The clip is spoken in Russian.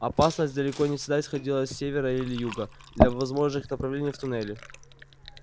опасность далеко не всегда исходила с севера или юга двух возможных направлений в туннеле